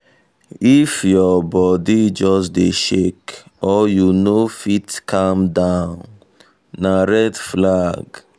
if your body just dey shake or you no fit calm down na red flag.